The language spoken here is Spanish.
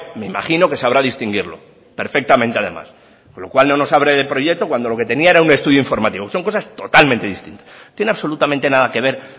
me imagino que sabrá distinguirlo perfectamente además por lo cual no nos hable de proyecto cuando lo que tenía era un estudio informativo son cosas totalmente distintas no tiene absolutamente nada que ver